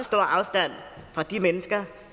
stor afstand fra de mennesker